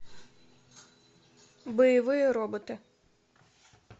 боевые роботы